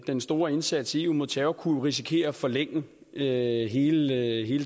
den store indsats i eu mod terror jo kunne risikere at forlænge hele